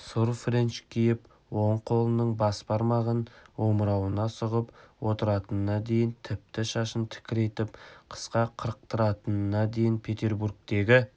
сұр френч киіп оң қолының бас бармағын омырауына сұғып отыратынына дейін тіпті шашын тікірейтіп қысқа қырықтыратынына дейін петербургтегі